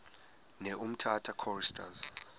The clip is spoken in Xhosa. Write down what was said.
ne umtata choristers